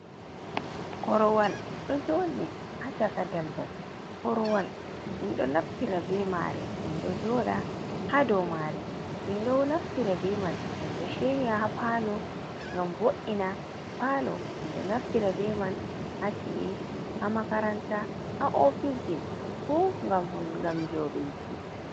Korowal ɗo joɗi ha chaka daldal, korowal min ɗo naftira be mai min ɗo joɗa ha dou mare min ɗo naftira be man mindo shirya ha palo ngam bo’’ina palo mindo naftira be man ha chi’i ha makaranta, ha ofisje fu ngam joduiki.